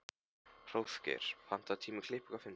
Hróðgeir, pantaðu tíma í klippingu á fimmtudaginn.